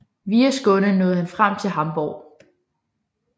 Via Skåne nåede han frem til Hamborg